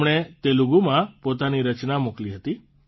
તેમણે તેલુગુમાં પોતાની રચના મોકલી હતી